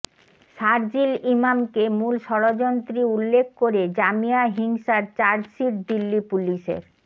শারজিল ইমামকে মূল ষড়যন্ত্রী উল্লেখ করে জামিয়া হিংসার চার্জশিট দিল্লি পুলিসের